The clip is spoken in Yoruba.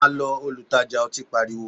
Ma lọ! Olutaja ọtí pariwo